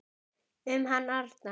Um hann Arnar.